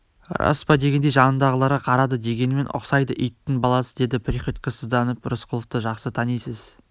рас па дегендей жанындағыларға қарады дегенмен ұқсайды иттің баласы деді приходько сызданып сіз рысқұловты жақсы танисыз